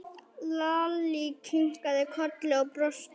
Lalli kinkaði kolli og brosti.